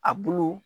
A bulu